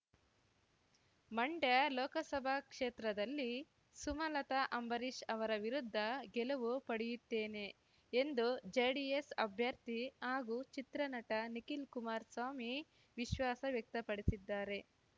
ಮಂಡ್ಯ ಲೋಕಸಭಾ ಕ್ಷೇತ್ರದಲ್ಲಿ ಸುಮಲತ ಅಂಬರೀಶ್ ಅವರ ವಿರುದ್ಧ ಗೆಲುವು ಪಡೆಯುತ್ತೇನೆ ಎಂದು ಜೆಡಿಎಸ್ ಅಭ್ಯರ್ಥಿ ಹಾಗೂ ಚಿತ್ರನಟ ನಿಖಿಲ್ ಕುಮಾರ್ಸ್ವಾಮಿ ವಿಶ್ವಾಸ ವ್ಯಕ್ತಪಡಿಸಿದ್ದಾರೆ